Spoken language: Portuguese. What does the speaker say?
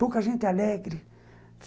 Pouca gente alegre.